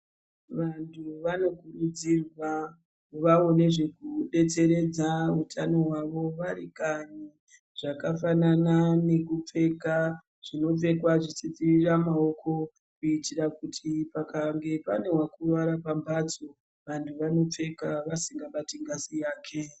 Vantu vanokurudzirwa kuvawo nezvekudetseredza utano hwawo vari kanyi zvakafanana nekupfeka zvinopfekwa zvichidzivira maoko kuitira kuti pane wakuwara pamhatso vantu vanopfeka vasingabati ngazi yake.